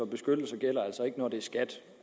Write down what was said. beskyttelse gælder altså ikke når det er skat